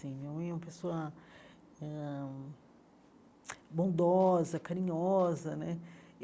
minha mãe é uma pessoa ãh bondosa, carinhosa né.